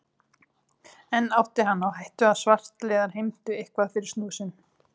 Enn átti hann á hættu að svartliðar heimtuðu eitthvað fyrir snúð sinn.